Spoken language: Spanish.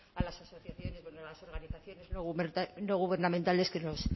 a las asociaciones bueno a las organizaciones no gubernamentales que nos